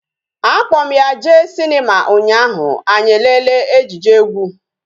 A kpo m ya jee Sinima unyaahu anyi elele ejije egwu